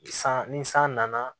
San ni san nana